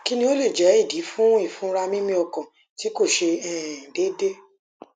kini o le je idi fun ifunra mimi okan ti ko se um deede